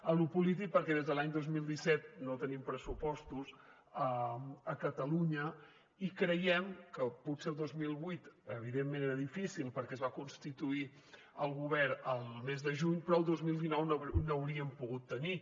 en lo polític perquè des de l’any dos mil disset no tenim pressupostos a catalunya i creiem que potser el dos mil divuit evidentment era difícil perquè es va constituir el govern el mes de juny però el dos mil dinou n’hauríem pogut tenir